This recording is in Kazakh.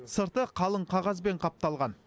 сырты қалың қағазбен қапталған